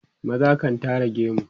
maza kan Tara gemu